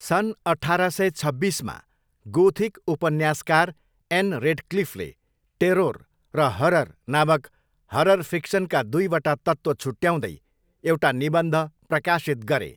सन् अठार सय छब्बिसमा, गोथिक उपन्यासकार एन रेडक्लिफले 'टेरोर' र 'हरर' नामक हरर फिक्सनका दुईवटा तत्त्व छुट्याउँदै एउटा निबन्ध प्रकाशित गरे।